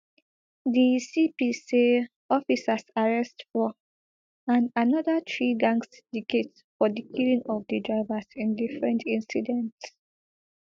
di cp say officers arrest four and anoda threegang sydicate for di killing of di drivers in different incidents